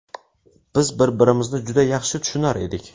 Biz bir-birimizni juda yaxshi tushunar edik.